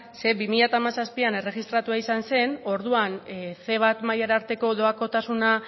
zeren bi mila hamazazpian erregistratua izan zen orduan ce bat mailara arteko doakotasuna